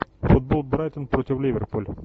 футбол брайтон против ливерпуль